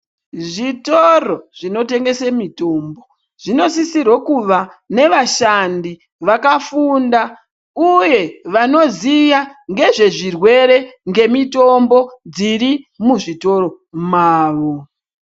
Zvitoro zvino tengese mitombo, zvinosisira kuva navashandi vakafunda, uye vanoziya ngezvezvirwere ngemitombo dzri muzvitoro mawo.